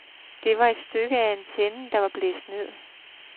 Det var et stykke af antennen, der var blæst ned.